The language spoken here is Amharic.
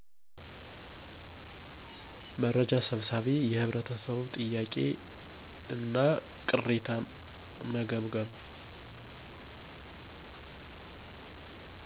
መርጃ ሰብሳቢ የህብረተሰቡ ጥያቄ እና ቅሬታን መገምገም